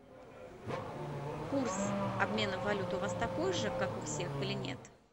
курс обмена валют у вас такой же как у всех или нет